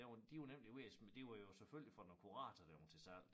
Der var de var nemlig ved at de var jo selvfølgelig fra noget kurator da hun til salg